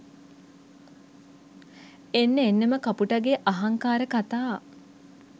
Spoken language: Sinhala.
එන්න එන්නම කපුටගේ අහංකාර කතා